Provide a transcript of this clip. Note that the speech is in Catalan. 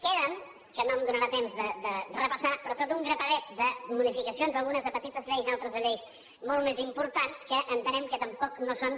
queden que no em donarà temps de repassar però tot un grapadet de modificacions algunes de petites lleis altres de lleis molt més importants que entenem que tampoc no són